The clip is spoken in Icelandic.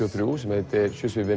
og þrjú sem heitir